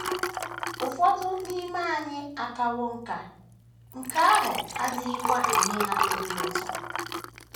Ụfọdụ n’ime anyị akawo nká, nke ahụ adịghịkwa enye ha obi ụtọ.